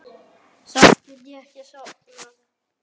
Samt gat ég ekki sofnað.